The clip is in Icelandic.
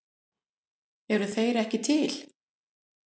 Eru þeir ekki til?